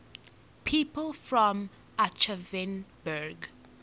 people from aschaffenburg